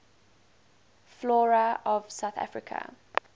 flora of south africa